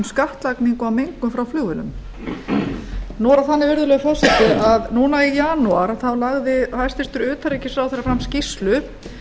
skattlagningu á mengun frá flugvélum nú er það þannig virðulegur forseti að núna í janúar lagði hæstvirts utanríkisráðherra fram skýrslu